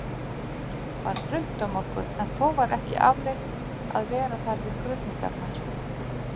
var þröngt um okkur, en þó var ekki afleitt að vera þar við krufningarnar.